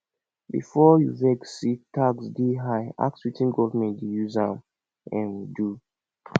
before you vex say tax dey high ask wetin government dey use am um do